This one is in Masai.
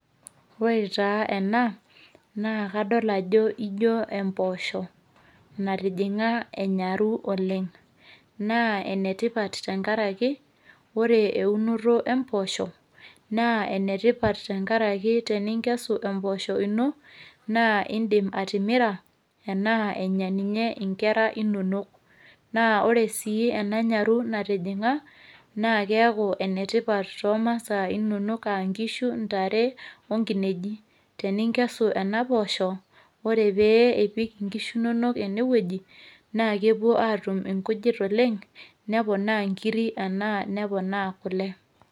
ore taa ena naa kadol ajo ijo impoosho natijinga enyaru oleng. naa ene tipat tenkaraki ore eunoto empoosho, naa ene tipat tenkaraki ore teninkesu empoosho ino naa idim atimira ana enya ninye nkera inonok. naa ore sii ena nyaru natijinga. naa keeku enetipat too masaa inonok, inkishu, ntare o nkineji. teninkesu kuna poosho. ore pee ipik nkishu inonok ene wueji, naa kepuo atum inkujit oleng neponaa nkiri anaa neponaa kule.